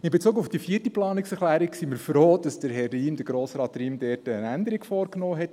In Bezug auf die vierte Planungserklärung sind wir froh, dass Grossrat Riem dort eine Änderung vorgenommen hat.